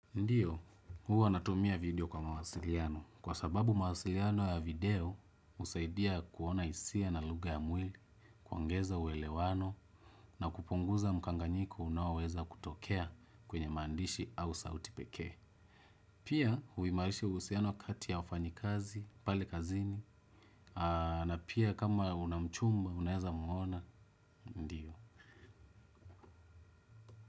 Ndiyo, huwa natumia video kwa mawasiliano. Kwa sababu mawasiliano ya video, husaidia kuona hisia na lugha ya mwili, kuongeza uelewano, na kupunguza mkanganyiko unaoweza kutokea kwenye mandishi au sauti pekee. Pia, huimarisha uhusiano kati ya wafanyikazi, pale kazini na pia kama una mchumba, unaweza muona, ndiyo.